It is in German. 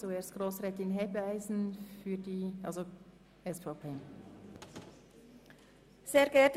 Zuerst hat Grossrätin Hebeisen das Wort.